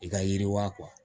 I ka yiriwa